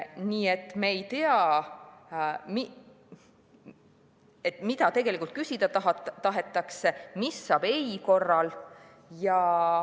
Nii et me ei tea, mida tegelikult küsida tahetakse, mis saab ei korral.